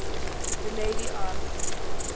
the lady asked